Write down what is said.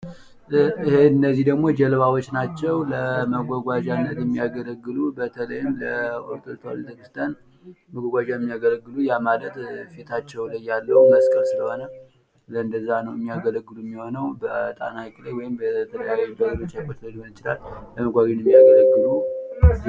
እነዚህ ደግሞ ጀልባዎች ናቸው፤ ለመጓጓዣነት የሚያገለግሉ ፣ በጣና ሃይቅ ላይ ወይም በሌላ ሃይቅ ላይ ለቤተክርስቲያን መጓጓዣነት የሚያገለግሉ ናቸው።